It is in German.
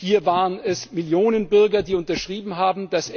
Hier waren es Millionen Bürger, die unterschrieben haben.